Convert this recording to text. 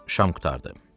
Şam qurtardı.